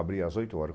Abri às oito horas.